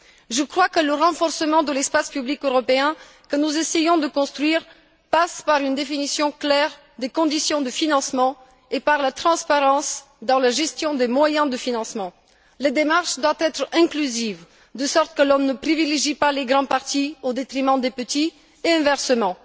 Je crois que le renforcement de l'espace public européen que nous essayons de construire passe par une définition claire des conditions de financement et par la transparence dans la gestion des moyens de financement. La démarche doit être inclusive, de sorte que l'on ne privilégie pas les grands partis au détriment des petits, et inversement.